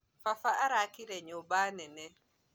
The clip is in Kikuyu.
Baba arakire nyũmba nene